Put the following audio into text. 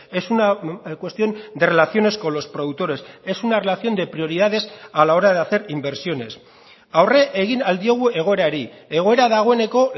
es una cuestión de relaciones con los productores es una relación de prioridades a la hora de hacer inversiones aurre egin ahal diogu egoerari egoera dagoeneko